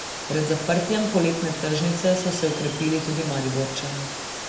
Pred zaprtjem poletne tržnice so se okrepili tudi Mariborčani.